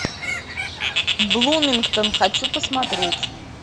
блумингтон хочу посмотреть